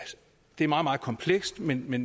det er meget meget komplekst men med